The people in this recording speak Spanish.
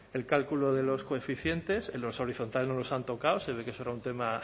el cálculo de los coeficientes los horizontales no los han tocado se ve que eso era un tema